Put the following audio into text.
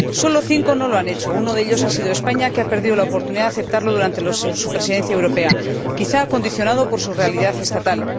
Solo cinco no lo han hecho uno de ellos es España, que ha perdido la oportunidad de aceptarlo durante su Presidencia europea, quizá condicionado por su realidad estatal.